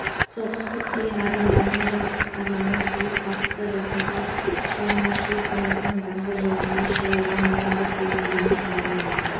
соғыс көптеген адамдардың жастық арманын қиып бақытты жасампаз шығармашылық өмірдің даңғыл жолына шығуына мүмкіндік бермегенін алдымен